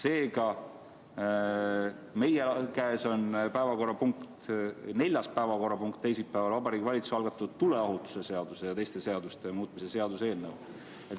Seega, meie käes on neljas päevakorrapunkt teisipäeval Vabariigi Valitsuse algatatud tuleohutuse seaduse ja teiste seaduste muutmise seaduse eelnõu.